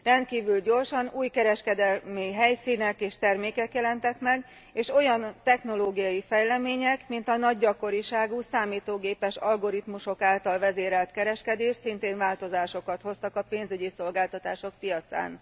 Rendkívül gyorsan új kereskedelmi helyszínek és termékek jelentek meg, és olyan technológiai fejlemények, mint a nagy gyakoriságú számítógépes algoritmusok által vezérelt kereskedés szintén változásokat hoztak a pénzügyi szolgáltatások piacán.